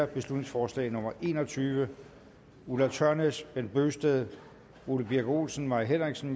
beslutningsforslag nummer b en og tyve ulla tørnæs bent bøgsted ole birk olesen mai henriksen